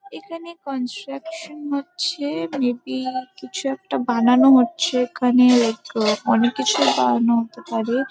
এখানে কন্সট্রাকশন হচ্ছে। Maybe কিছু একটা বানানো হচ্ছে। এখানে এক অনেক কিছু বানাতে পারে।